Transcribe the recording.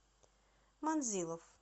манзилов